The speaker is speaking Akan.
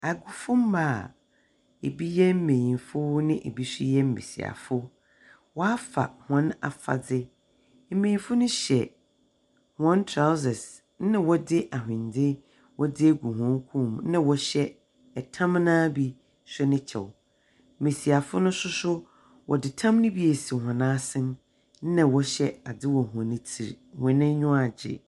Agofomma a ebi yɛ mbenyimfo na ebi nso yɛ mbesiafo, wɔafa hɔn afadze. Mbenyimfo no hyɛ hɔn trousers ɛnna wɔdze ahwendzw wɔdze agu hɔn kɔn mu, ɛnna wɔhyɛ tam no ara bi nso ne kyɛw. Mbesiafo no nso so, wɔdze tam no bi esi hɔn asen na wɔhyɛ adze wɔ hɔn tsir. hɔn enyiwa agye.